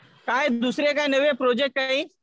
काय दुसरे काय नवे प्रोजेक्ट काही?